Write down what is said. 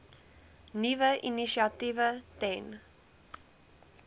nuwe initiatiewe ten